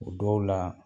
O dɔw la